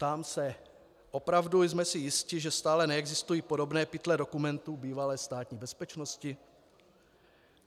Ptám se: Opravdu jsme si jisti, že stále neexistují podobné pytle dokumentů bývalé Státní bezpečnosti?